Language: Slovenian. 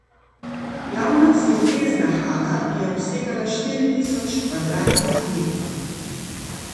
Glavna sintezna hala je obsegala štiri tisoč kvadratnih metrov.